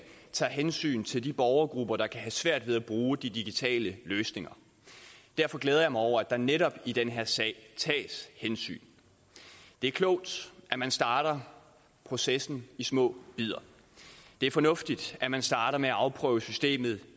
tager hensyn til de borgergrupper der kan have svært ved at bruge digitale løsninger derfor glæder jeg mig over at der netop i den her sag tages hensyn det er klogt at man starter processen i små bidder det er fornuftigt at man starter med at afprøve systemet